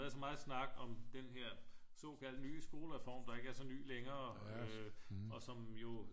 Været så meget snak om den her såkaldte nye skolereform der ikke er så ny længere øh og som jo